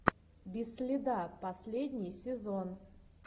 без следа последний сезон